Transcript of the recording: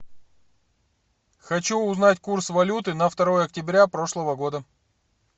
хочу узнать курс валюты на второе октября прошлого года